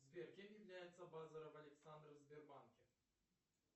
сбер кем является базаров александр в сбербанке